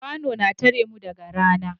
Kwano na tare mu daga rana